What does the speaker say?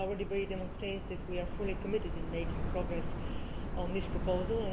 Our debate demonstrates that we are fully committed to making progress on this proposal.